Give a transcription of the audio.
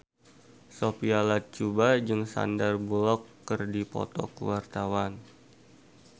Sophia Latjuba jeung Sandar Bullock keur dipoto ku wartawan